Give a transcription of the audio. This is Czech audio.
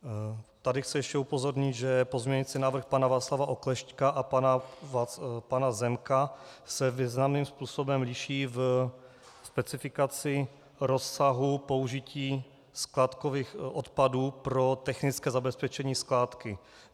Tady chci ještě upozornit, že pozměňující návrh pana Václava Oklešťka a pana Zemka se významným způsobem liší v specifikaci rozsahu použití skládkových odpadů pro technické zabezpečení skládky.